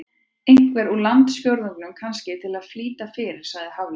Einhvern úr landsfjórðungnum, kannski, til að flýta fyrir- sagði Hafliði.